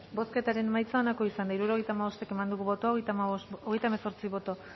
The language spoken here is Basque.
bozketaren emaitza onako izan da hirurogeita hamabost eman dugu bozka hogeita hemezortzi boto